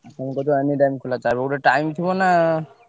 ତମେ କହୁଛ anytime ଖୋଲା ତାର ଗୋଟେ time ଥିବ ନା।